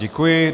Děkuji.